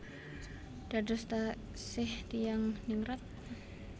Dados taksih tiyang ningrat